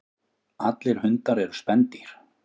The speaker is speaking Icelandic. Allir hundar eru spendýr.